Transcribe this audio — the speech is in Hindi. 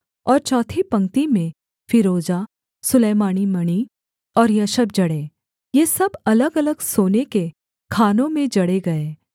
और चौथी पंक्ति में फीरोजा सुलैमानी मणि और यशब जड़े ये सब अलगअलग सोने के खानों में जड़े गए